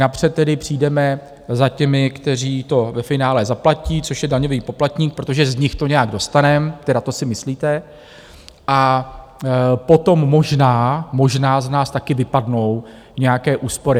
Napřed tedy přijdeme za těmi, kteří to ve finále zaplatí, což je daňový poplatník, protože z nich to nějak dostaneme, tedy to si myslíte, a potom možná, možná z nás také vypadnou nějaké úspory.